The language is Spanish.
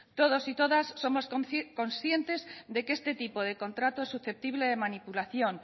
todos y todas somos conscientes de que este tipo de contrato es susceptible de manipulación